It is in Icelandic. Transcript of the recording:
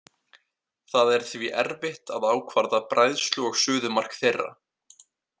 Það er því erfitt að ákvarða bræðslu- og suðumark þeirra.